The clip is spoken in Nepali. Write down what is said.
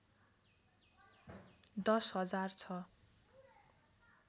१० हजार छ